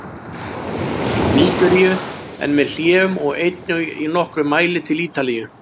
Nígeríu, en með hléum, og einnig í nokkrum mæli til Ítalíu.